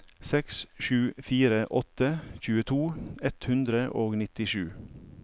seks sju fire åtte tjueto ett hundre og nittisju